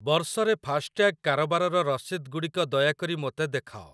ବର୍ଷ ରେ ଫାସ୍ଟ୍ୟାଗ୍ କାରବାରର ରସିଦଗୁଡ଼ିକ ଦୟାକରି ମୋତେ ଦେଖାଅ।